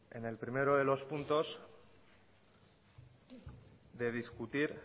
en el primero de los puntos de discutir